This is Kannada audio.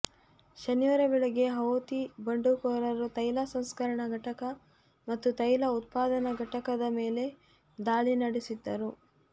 ಶನಿವಾರ ಬೆಳಗ್ಗೆ ಹೌತಿ ಬಂಡುಕೋರರು ತೈಲ ಸಂಸ್ಕರಣಾ ಘಟಕ ಮತ್ತು ತೈಲ ಉತ್ಪಾದನಾ ಘಟಕದ ಮೇಲೆ ದಾಳಿ ನಡೆಸಿದ್ದರು